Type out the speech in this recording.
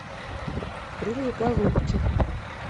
крылья голубки